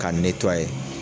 K'a netuwa ye